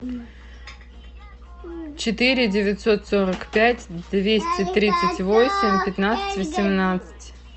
четыре девятьсот сорок пять двести тридцать восемь пятнадцать восемнадцать